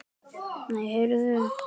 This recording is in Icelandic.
Nei, heyrðu!